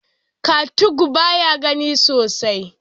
Katung baya gani sosai.